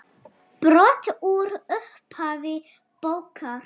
Brot úr upphafi bókar